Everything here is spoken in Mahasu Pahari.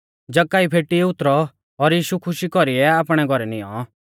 जक्कई फेटी उतरौ और यीशु खुशी कौरीऐ आपणै घौरै नियौं